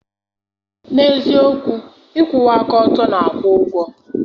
N'eziokwu, ịkwụwa aka ọtọ na-akwụ ụgwọ.